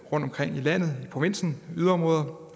rundtomkring i landet i provinsen i yderområder